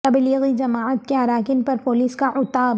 تبلیغی جماعت کے اراکین پر پولیس کا عتاب